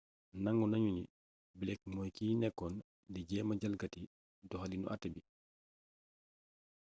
nangu nañu ni blake mooy kiy nekkoon di jéema jalgati doxaliinu até bi